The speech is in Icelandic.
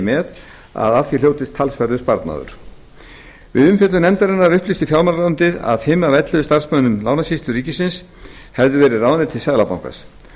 með að af því hljótist talsverður sparnaður við umfjöllun nefndarinnar upplýsti fjármálaráðuneytið að fimm af ellefu starfsmönnum lánasýslu ríkisins hefðu verið ráðnir til seðlabankans